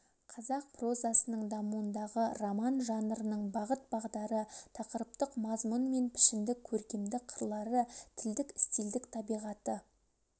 қазақ прозасының дамуындағы роман жанрының бағыт-бағдары тақырыптық мазмұн мен пішіндік көркемдік қырлары тілдік стильдік табиғаты